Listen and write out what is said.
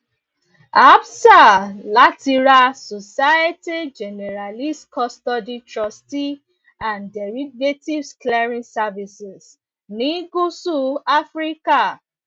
absa láti ra societe generales custody trustee and derivatives clearing services ní gúúsù áfíríkà